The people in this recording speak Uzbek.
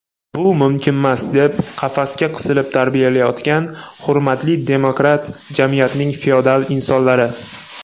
bu mumkinmas deb qafasga qisib tarbiyalayotgan hurmatli demokrat jamiyatning feodal insonlari.